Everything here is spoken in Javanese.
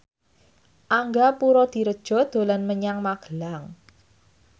Angga Puradiredja dolan menyang Magelang